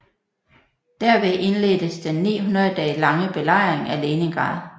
Derved indledtes den 900 dage lange belejring af Leningrad